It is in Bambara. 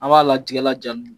Aw b'a la tiga laja